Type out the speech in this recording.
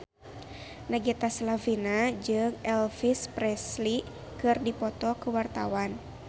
Nagita Slavina jeung Elvis Presley keur dipoto ku wartawan